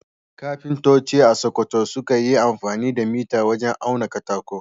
Kafintoci a Sakkwato sukan yi amfani da mita wajen auna katako.